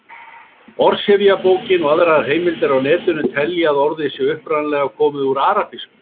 Orðsifjabókin og aðrar heimildir á Netinu telja að orðið sé upprunalega komið úr arabísku.